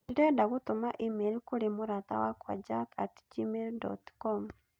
Ndĩrenda gũtũma e-mail kũrĩ mũrata wakwa Jack at gmail dot com